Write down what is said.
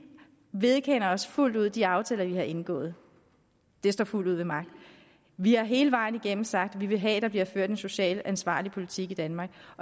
vedkender os fuldt ud de aftaler vi har indgået de står fuldt ud ved magt vi har hele vejen igennem sagt at vi vil have at der bliver ført en socialt ansvarlig politik i danmark